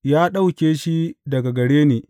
Ya ɗauke shi daga gare ni!